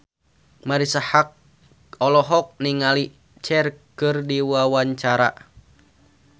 Marisa Haque olohok ningali Cher keur diwawancara